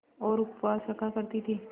और उपवास रखा करती थीं